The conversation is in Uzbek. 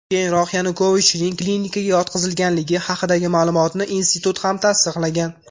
Keyinroq Yanukovichning klinikaga yotqizilganligi haqidagi ma’lumotni institut ham tasdiqlagan.